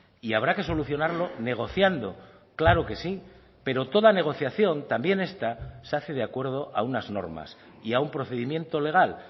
y habrá que solucionarlo negociando claro que sí pero toda negociación también esta se hace de acuerdo a unas normas y a un procedimiento legal